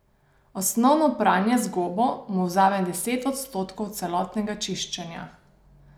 Osnovno pranje z gobo mu vzame deset odstotkov celotnega čiščenja.